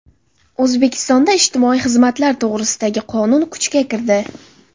O‘zbekistonda ijtimoiy xizmatlar to‘g‘risidagi qonun kuchga kirdi.